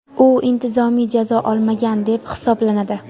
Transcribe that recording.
u intizomiy jazo olmagan deb hisoblanadi.